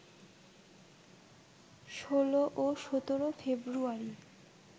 ১৬ ও ১৭ ফেব্রুয়ারি